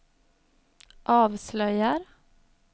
avslöjar